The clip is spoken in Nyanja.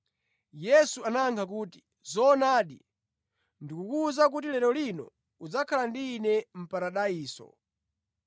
Yesu anayankha kuti, “Zoonadi, ndikukuwuza kuti lero lino udzakhala ndi Ine mʼparadaiso.”